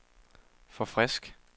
forfrisk